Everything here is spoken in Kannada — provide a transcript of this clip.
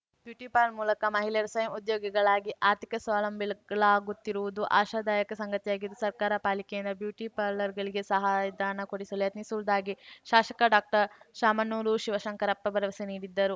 ಬ್ಯೂಟಿಪಾರ್ಲರ್‌ ಮೂಲಕ ಮಹಿಳೆಯರು ಸ್ವಯಂ ಉದ್ಯೋಗಿಗಳಾಗಿ ಆರ್ಥಿಕ ಸ್ವಾವಲಂಬಿಗಳಾಗುತ್ತಿರುವುದು ಆಶಾದಾಯಕ ಸಂಗತಿಯಾಗಿದ್ದು ಸರ್ಕಾರ ಪಾಲಿಕೆಯಿಂದ ಬ್ಯೂಟಿಪಾರ್ಲರ್‌ಗಳಿಗೆ ಸಹಾಯಧನ ಕೊಡಿಸಲು ಪ್ರಯತ್ನಿಸುವುದಾಗಿ ಶಾಸಕ ಡಾಕ್ಟರ್ಶಾಮನೂರು ಶಿವಶಂಕರಪ್ಪ ಭರವಸೆ ನೀಡಿದ್ದರು